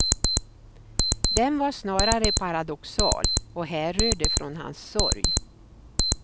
Den var snarare paradoxal, och härrörde från hans sorg.